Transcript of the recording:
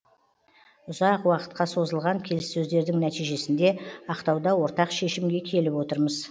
ұзақ уақытқа созылған келіссөздердің нәтижесінде ақтауда ортақ шешімге келіп отырмыз